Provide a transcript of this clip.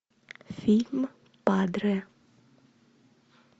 фильм падре